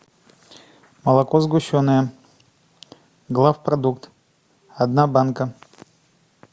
молоко сгущенное главпродукт одна банка